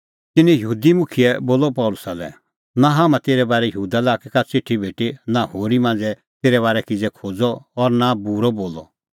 तिन्नैं यहूदी मुखियै बोलअ पल़सी लै नां हाम्हां तेरै बारै यहूदा लाक्कै का च़िठी भेटी नां होरी भाई मांझ़ै तेरै बारै किज़ै खोज़अ और नां बूरअ बोलअ